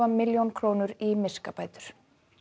milljón í miskabætur